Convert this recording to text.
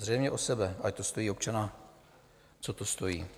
Zřejmě o sebe, ať to stojí občana, co to stojí.